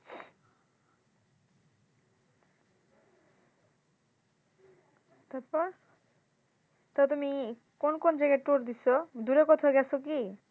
তারপর তো তুমি কোন কোন জায়গায় tour দিছো? দূরে কোথাও গেছো কী?